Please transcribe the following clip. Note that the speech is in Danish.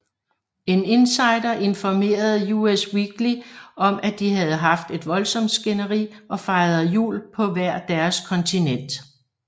En insider informerede Us Weekly om at de havde haft et voldsomt skænderi og fejrede jul på hvert deres kontinent